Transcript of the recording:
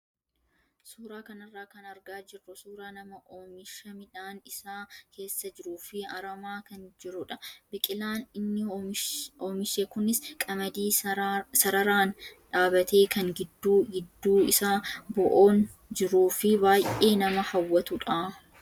Suuraa kanarraa kan argaa jirru suuraa nama oomisha midhaan isaa keessa jiruu fi aramaa kan jirudha. Biqilaan inni oomishe kunis qamadii sararaan dhaabbate kan gidduu gidduu isaa bo'oon jiruu fi baay'ee nama hawwatudha.